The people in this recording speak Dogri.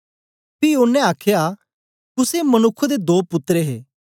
पी ओनें आखया कुसे मनुक्ख दे दो पुत्तर हे